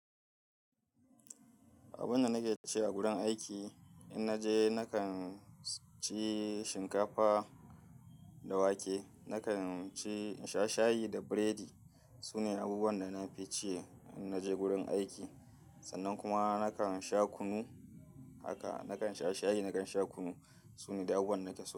Abunda nake ci a gurin aiki, in naje nakan ci shinkafa da wake, nakan sha shayi da burodi. Su ne abubuwan da nafi ci in naje gurin aiki. Sannan kuma nakan sha kunu. Haka, nakan sha shayi, nadan sha kunu. Su ne duk abubuwan da nake so.